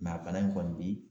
Mɛ a bana in kɔni bi